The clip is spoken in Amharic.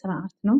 ስረአት ነው።